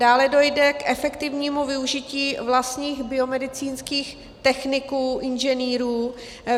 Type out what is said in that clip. Dále dojde k efektivnímu využití vlastních biomedicínských techniků, inženýrů.